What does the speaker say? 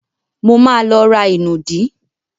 Mo ma lọ ra ìnùdí.